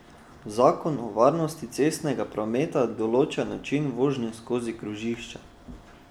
Zakon o varnosti cestnega prometa določa način vožnje skozi krožišča.